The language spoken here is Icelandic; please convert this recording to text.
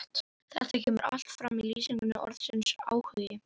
Þetta kemur allt fram í lýsingu orðsins áhugi: